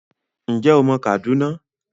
Ǹjẹ́ o mọ Kaduna?